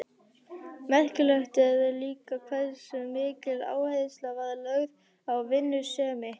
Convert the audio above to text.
Merkilegt er líka hversu mikil áhersla var lögð á vinnusemi.